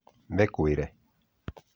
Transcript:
Mĩkũĩre